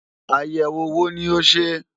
Àyẹ̀wò wo ni o ṣe?